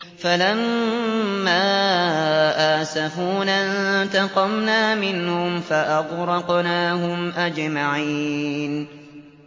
فَلَمَّا آسَفُونَا انتَقَمْنَا مِنْهُمْ فَأَغْرَقْنَاهُمْ أَجْمَعِينَ